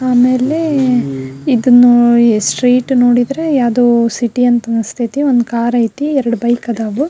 ಆಮೇಲೆ ಇದನ್ನು ಸ್ಟ್ರೈಟ್ ನೋಡಿದ್ರೆ ಯಾವುದೋ ಸಿಟಿ ಅಂತ ಅನ್ಸ್ತಾ ಐತಿ ಒಂದ್ ಕಾರ್ ಐತಿ ಎರಡ್ ಬೈಕ್ ಅದಾವು.